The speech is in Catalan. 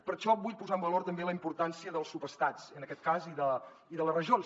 per això vull posar en valor també la importància dels subestats en aquest cas i de les regions